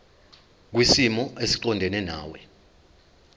kwisimo esiqondena nawe